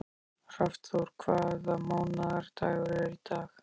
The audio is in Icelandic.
Hrafnþór, hvaða mánaðardagur er í dag?